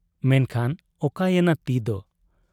ᱢᱮᱱᱠᱷᱟᱱ ᱚᱠᱟᱭᱮᱱᱟ ᱛᱤᱫᱚ ᱾